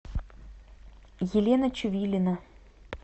елена чувилина